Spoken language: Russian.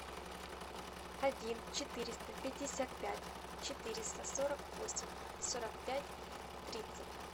один четыреста пятьдесят пять четыреста сорок восемь сорок пять тридцать